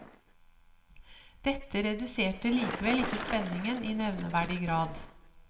Dette reduserte likevel ikke spenningen i nevneverdig grad.